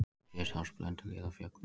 Hér sjást Blönduhlíðarfjöll.